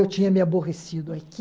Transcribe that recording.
Eu tinha me aborrecido aqui.